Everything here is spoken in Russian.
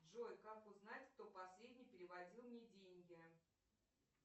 джой как узнать кто последний переводил мне деньги